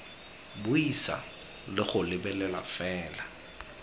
buisa le go lebelela fela